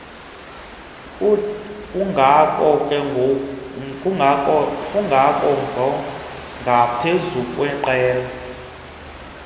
kungakho ngaphezulu kweqela